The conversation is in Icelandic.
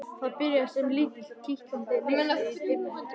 Það byrjar sem lítill, kitlandi neisti í dimmu herbergi.